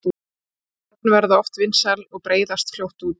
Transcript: ný nöfn verða oft vinsæl og breiðast fljótt út